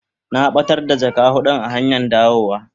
Na batar da jaka hudun a hanyan dawa.